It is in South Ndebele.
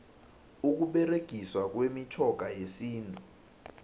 ukuberegiswa kwemitjhoga yesintu